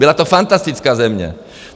Byla to fantastická země.